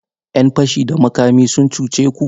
’Yan fashi da makami sun cuce ku?